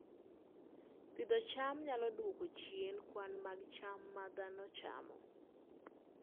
Pidho cham nyalo dwoko chien kwan mag cham ma dhano chamo